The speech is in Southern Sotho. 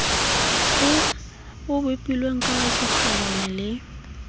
o bopilweng ka bokgabane le